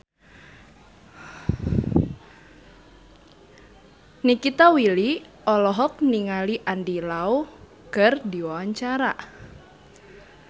Nikita Willy olohok ningali Andy Lau keur diwawancara